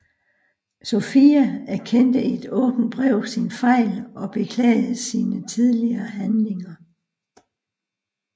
Sofia erkendte i et åbent brev sin fejl og beklagede sine tidligere handlinger